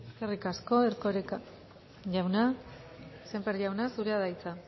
eskerrik asko erkoreka jauna sémper jauna zurea da hitza